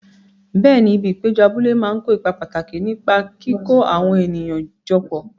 Bẹẹ̀ni, ibi ìpéjọ abúlé máa ń kó ipa pàtàkì nípa kíkó àwọn ènìyàn jọ papọ̀.